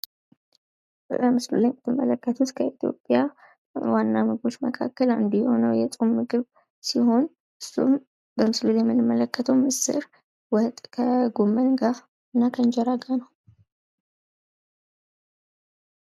በምስሉ ላይ የምትመለከቱት በኢትዮጵያ ዋና ምግቦች መካከል አንዱ የሆነው የፆም ምግብ ሲሆን እሱም በምስሉ ላይ የምንመለከተው ምስር ወጥ ከጎመን ጋ እና ከእንጀራ ጋ ነው።